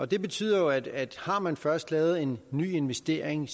det betyder jo at at har man først lavet en ny investering